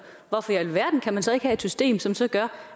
hvorfor i alverden kan man så ikke have et system som så gør